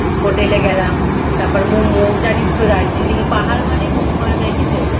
hotel এ গেলাম। তারপর মোমো জানিসতো দার্জি লিংপাহাড় মানে মোমো আর ম্যাগি famous